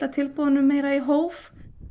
framboðunum meira í hóf